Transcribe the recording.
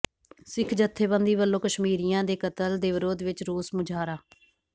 ਸਿੱਖ ਜਥੇਬੰਦੀ ਵਲੋਂ ਕਸ਼ਮੀਰੀਆਂ ਦੇ ਕਤਲ ਦੇ ਵਿਰੋਧ ਵਿਚ ਰੋਸ ਮੁਜਾਹਰਾ